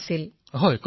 প্ৰধানমন্ত্ৰীঃ হয় কওক